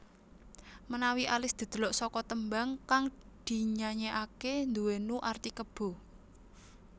Menawi alis didelok saka tembang kang dinyayekake nduwenu arti kebo